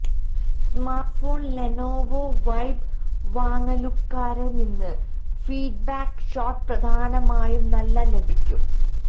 smartphone Lenovo Vibe വാങ്ങലുകാരെ നിന്ന് feedback shot പ്രധാനമായും നല്ല ലഭിക്കും